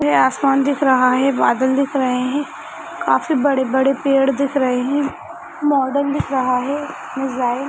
यहाँ आसमान दिख रहा है बादल दिख रहे है काफी बड़े बड़े पेड़ दिख रहे है मॉडल दिख रहा है डिज़ाइन --